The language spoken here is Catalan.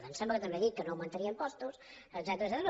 em sembla que també ha dit que no augmentaria impostos etcètera